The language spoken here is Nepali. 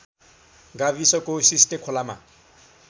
गाविसको सिस्ने खोलामा